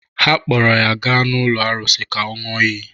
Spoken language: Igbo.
Ha kpọọrọ ya gaa n’ụlọ arụsị ka ọ ṅụọ iyi